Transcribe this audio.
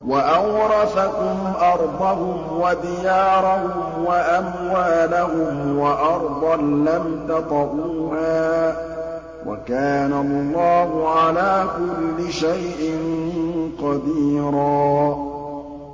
وَأَوْرَثَكُمْ أَرْضَهُمْ وَدِيَارَهُمْ وَأَمْوَالَهُمْ وَأَرْضًا لَّمْ تَطَئُوهَا ۚ وَكَانَ اللَّهُ عَلَىٰ كُلِّ شَيْءٍ قَدِيرًا